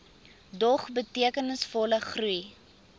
dog betekenisvolle groei